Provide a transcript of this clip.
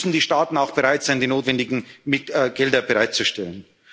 Außengrenzschutz? Dann müssen die Staaten auch bereit sein, die notwendigen